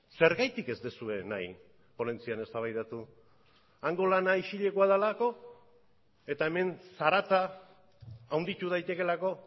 zergatik ez duzue nahi ponentzian eztabaidatu hango lana isilekoa delako eta hemen zarata handitu daitekeelako